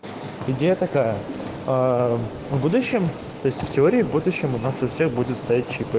где такая будущем в теории вот ещё у нас у всех будет стоять